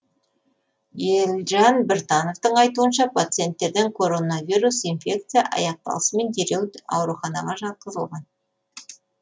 елжан біртановтың айтуынша пациенттерден коронавирус инфекция аяқталысымен дереу ауруханаға жатқызылған